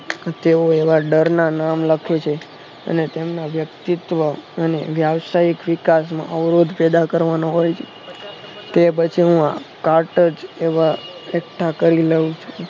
તેઓ એવા ડરના નામ લખે છે અને તેમના વ્યક્તિત્વ અને વ્યાવસાયિક વિકાસનો અવરોધ પેદા કરવાનો હોય કે પછી હું કાટ જ એવા એકઠા કરી લઉં